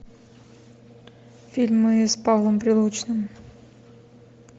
фильмы с павлом прилучным